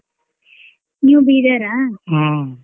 ನೀವ್ ಬೀದರ್ ಆ.